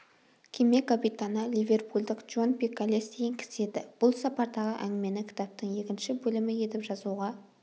кеме капитаны ливерпульдік джон пиколес деген кісі еді бұл сапардағы әңгімені кітаптың екінші бөлімі етіп жазуға